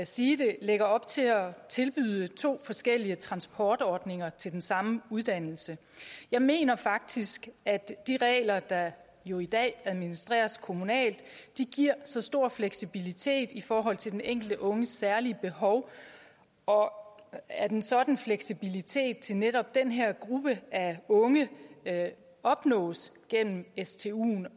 sige det lægger op til at tilbyde to forskellige transportordninger til den samme uddannelse jeg mener faktisk at de regler der jo i dag administreres kommunalt giver stor fleksibilitet i forhold til den enkelte unges særlige behov og at og at en sådan fleksibilitet til netop den her gruppe af unge opnås gennem stuen